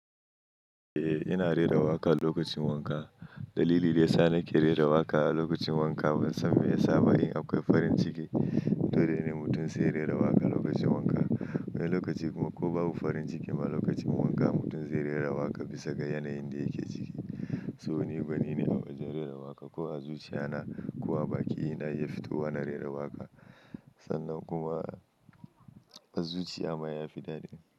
Eh ina rera waƙa lokacin wanka. Dalili daya sa nake rera waƙa a lokacin wanka ban san me ya sa ba. Eh akwai farin ciki dole ne mutum sai rera waƙa lokacin wanka. Wani lokaci kuma ko babu farin ciki ma lokacin wanka mutum zai rera waƙa bisa ga yanayin da yake ciki. So ni gwani ne a waje rera waƙa ko a zuciya na. Ko a baki ina iya fito wa na rera waƙa. Sannan kuma a zuciya ma ya fi dadi.